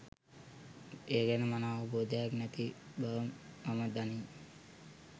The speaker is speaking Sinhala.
ඒ ගැන මනා අවබෝධයක් නැති බව මම දනිමි.